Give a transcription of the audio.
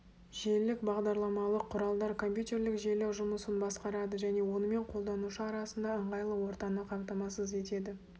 желілік бағдарламалық құралдар компьютерлік желі жұмысын басқарады және онымен қолданушы арасында ыңғайлы ортаны қамтамасыз етеді